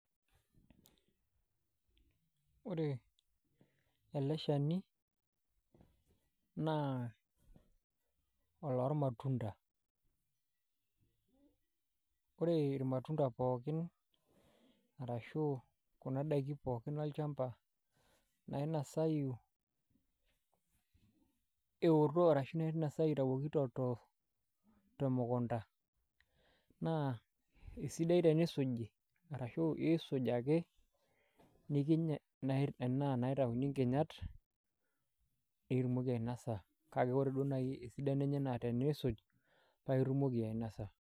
Ore ele shani naa olormatunda ore irmatunda pookin arashu kuna daikin pookin olchamba nainasayu eoto ashu nainasayu itayuoki temukunta naa esidai tenisuji arashu nikiny enaa inaitauni nkinyat kake ore duo naai esidano enye naa iisuj paa itumoki ainasa.